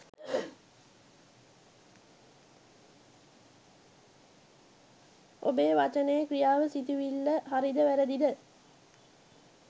ඔබේ වචනය, ක්‍රියාව, සිතිවිල්ල හරි ද වැරුදි ද